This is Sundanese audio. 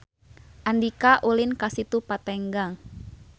Andika ulin ka Situ Patenggang